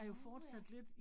Nåh ja